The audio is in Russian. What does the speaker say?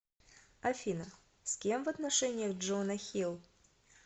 афина с кем в отношениях джона хилл